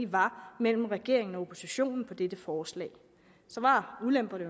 var mellem regeringen og oppositionen om dette forslag så var ulemperne